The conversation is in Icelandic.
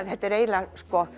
þetta er eiginlega